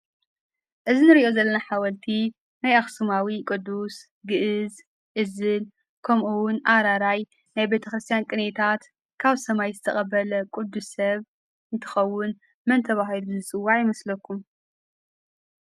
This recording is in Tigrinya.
እዚ እንሪኦ ዘለና ሓወልቲ ናይ አኽስማዊ ቅዱስ ግእዝ ፣እዝል ከምኡ እውን አራራይ ናይ ቤተክርስትያን ቅኔታት ካብ ሰማይ ዝተቀበለ ቅዱስ ሰብ እንትኸውን መን ተባሂሉ ይፅዋዕ ይመስለኩም?